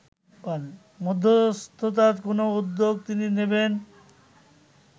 মধ্যস্ততার কোনো উদ্যোগ তিনি নেবেন